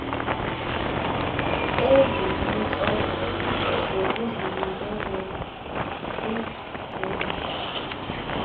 eziyintloko zokuzinikezela kwinguqu